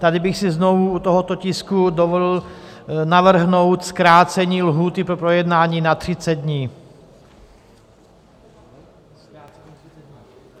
Tady bych si znovu u tohoto tisku dovolil navrhnout zkrácení lhůty pro projednání na 30 dní.